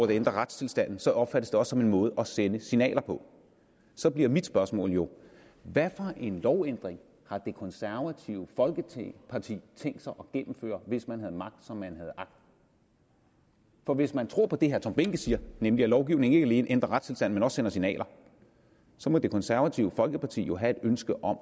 det ændrer retstilstanden så opfattes det også som en måde at sende signaler på så bliver mit spørgsmål jo hvad for en lovændring har det konservative folkeparti tænkt sig at gennemføre hvis man havde magt som man har agt for hvis man tror på det herre tom behnke siger nemlig at lovgivning ikke alene ændrer retstilstanden men også sender signaler så må det konservative folkeparti jo have et ønske om